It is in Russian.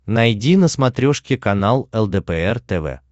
найди на смотрешке канал лдпр тв